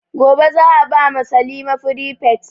Gobe za a ba ma salima firifet